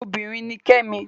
Obinrin ni Kẹ́mi